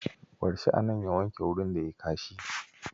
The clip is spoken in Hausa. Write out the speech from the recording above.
Bar shi a nan ya wanke wurin da yi kashi.